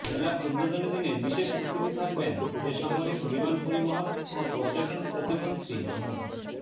মেলার উদ্বোধনী দিনে বিশেষ অতিথি থাকবেন বেসামরিক বিমান পরিবহন ও পর্যটন প্রতিমন্ত্রী মো